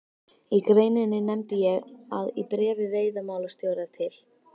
Í greininni nefndi ég að í bréfi veiðimálastjóra til